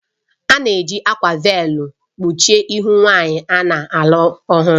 A na-eji akwa véélu kpuchie ihu nwanyị a na-alụ ọhụrụ